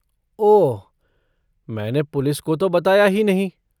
ओह, मैंने पुलिस को तो बताया ही नहीं।